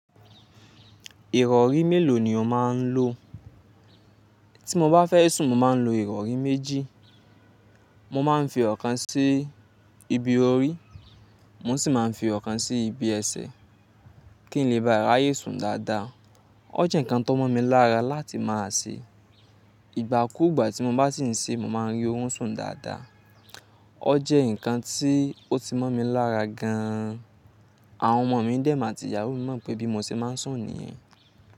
Ìrọ̀rí mélòó ni o máa ń lo? Tí mo bá fẹ́ sùn mo máa ń lo ìrọ̀rí méjì. Mo máa ń fi ọ̀kan sí ibi orí, mo sì máa ń fi ọ̀kan sí ibi ẹsẹ̀ kí n lè ba à ràyè sùn dáadáa. O jẹ́ ǹkan tó mọ́ mi lára láti máa ṣe. Ìgbà kú ìgbà tí mo bá sì ń ṣe, mo máa ń rí ó sùn dáadáa. O jẹ́ ǹkan tí ó ti mọ́ mi lára gan an. Àwọn ọmọ mi dẹ̀ mọ̀ àti ìyàwó mi mọ̀ pé bí mo ṣe máa ń sùn nìyẹn.